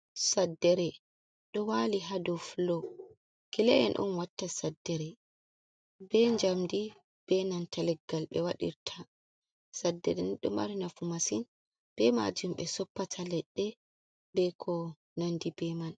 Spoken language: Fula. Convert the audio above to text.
"Saddere" ɗo wali ha dou fulo kila’en en ɗon watta saddere be jamdi benanta leggal ɓe wadirta saddere ni ɗo mari nafu masin be majum be soppata leɗɗe be ko nandi be man.